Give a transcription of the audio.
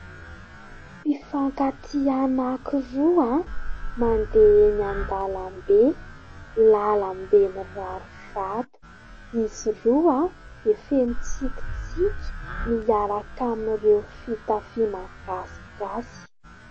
Mpifankatia anakiroa an, mandeha eny an-dalambe; lalambe mirary vato; izy roa an dia feno tsikitsiky, miaraka amin'ireo fitafiana gasigasy.